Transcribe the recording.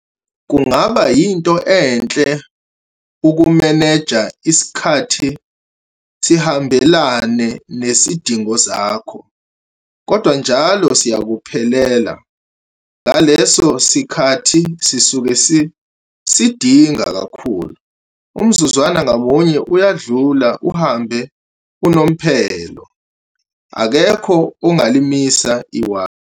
Kungaba yinto enhle ukumeneja isikhathi sihambelane nezidingo zakho. Kodwa njalo siyakuphelela, ngaleso sikhathi sisuke sisidinga kakhulu. Umzuzwana ngamunya uyadlula uhambe unomphela. Akekho ungalimisa iwashi.